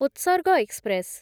ଉତ୍ସର୍ଗ ଏକ୍ସପ୍ରେସ୍